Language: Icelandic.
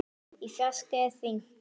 Í fjarska er hringt.